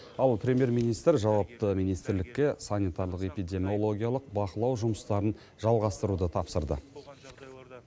ал премьер министр жауапты министрлікке санитарлық эпидемиологиялық бақылау жұмыстарын жалғастыруды тапсырды